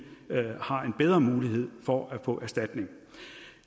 har en bedre mulighed for at få erstatning